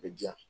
A bɛ diya